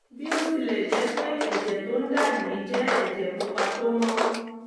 bí ó tilẹ̀ jẹ́ pé ẹ̀jẹ̀ tó ń dà yìí jẹ́ ẹ̀jẹ̀ pupa tó mọ́